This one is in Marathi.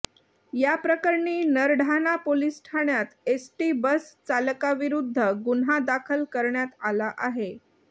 याप्रकरणी नरढाणा पोलीस ठाण्यात एसटी बस चालकाविरूद्ध गुन्हा दाखल करण्यात आला आहे